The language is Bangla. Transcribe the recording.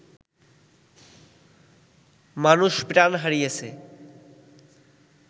মানুষ প্রাণ হারিয়েছে